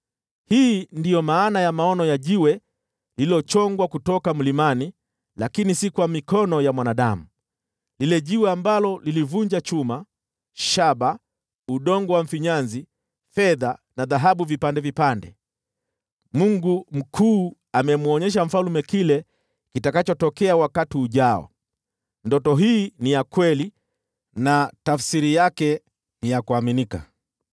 Hii ndiyo maana ya maono ya jiwe lililochongwa kutoka mlimani, lakini si kwa mikono ya mwanadamu, lile jiwe ambalo lilivunja chuma, shaba, udongo wa mfinyanzi, fedha na dhahabu vipande vipande. “Mungu Mkuu amemwonyesha mfalme kile kitakachotokea wakati ujao. Ndoto hii ni ya kweli na tafsiri yake ni ya kuaminika.”